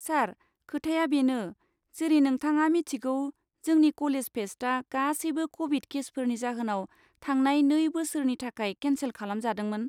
सार, खोथाया बेनो, जेरै नोंथाङा मिथिगौ जोंनि कलेज फेस्टआ गासैबो क'भिड केसफोरनि जाहोनाव थांनाय नै बोसोरनि थाखाय केनसेल खालामजादोंमोन।